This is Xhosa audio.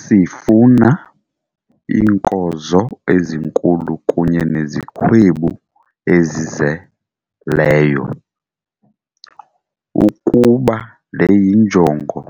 Sifuna iinkozo ezinkulu kunye nezikhwebu ezizeleyo. Ukuba le yinjongo